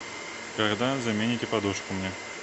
когда замените подушку мне